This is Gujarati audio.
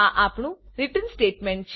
આ આપણું રિટર્ન સ્ટેટમેન્ટ